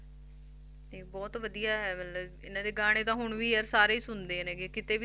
ਤੇ ਬਹੁਤ ਵਧੀਆ ਹੈ ਮਤਲਬ ਇਹਨਾਂ ਦੇ ਗਾਣੇ ਤਾਂ ਹੁਣ ਵੀ ਯਾਰ ਸਾਰੇ ਹੀ ਸੁਣਦੇ ਨੇ ਗੇ ਕਿਤੇ ਵੀ